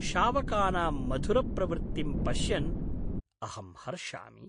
शावकानाम् मधुरप्रवृत्तिं पश्यन् अहम् हर्षामि।